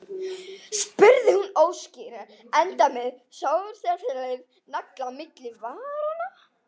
spurði hún óskýrt, enda með stóreflis nagla á milli varanna.